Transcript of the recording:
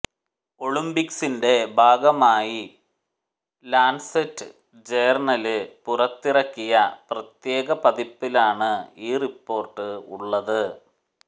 ഒളിമ്പിക്സിന്റെ ഭാഗമായി Lancet journal പുറത്തിറക്കിയ പ്രത്യേക പതിപ്പിലാണ് ഈ റിപ്പോര്ട്ട് ഉളളത്